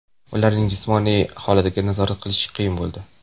Ularning jismoniy holatini nazorat qilish qiyin bo‘ldi.